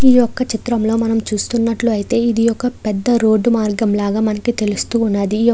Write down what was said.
ఈ ఒక చిత్రంలో మనము చూస్తున్నట్లైతే ఇదొక పెద్ద రోడ్డు మార్గం లాగా మనకు తెలుస్తూ ఉన్నది.